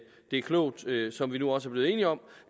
er klogt som vi nu også er blevet enige om